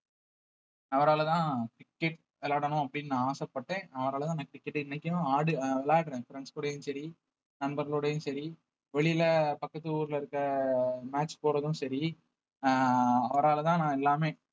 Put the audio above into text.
அவராலதான் cricket விளையாடணும் அப்படின்னு நான் ஆசைப்பட்டேன் அவராலதான் எனக்கு cricket இன்னைக்கும் விளையாடுறேன் friends கூடயும் சரி நண்பர்களோடயும் சரி வெளியில பக்கத்து ஊர்ல இருக்க match போறதும் சரி அஹ் அவராலதான் நான் எல்லாமே